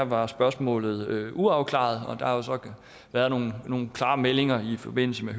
var spørgsmålet uafklaret og der har jo så været nogle klare meldinger i forbindelse med